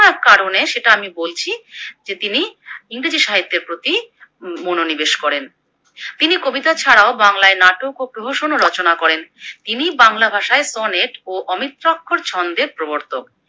এক কারণে সেটা আমি বলছি যে তিনি ইংরেজি সাহিত্যের প্রতি মনোনিবেশ করেন। তিনি কবিতা ছাড়াও বাংলায় নাটক ও রচনা করেন। তিনি বাংলা ভাষায় সনেট ও অমিত্রাক্ষর ছন্দের প্রবর্তক।